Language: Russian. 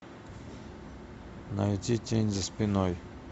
найти тень за спиной